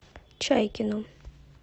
чайкину